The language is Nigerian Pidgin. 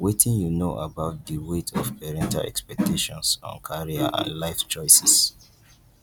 wetin you know about di weight of parental expactations on career and life choices